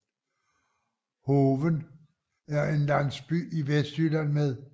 Hoven er en landsby i Vestjylland med